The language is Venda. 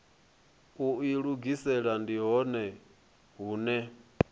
u ilugisela ndi hone hune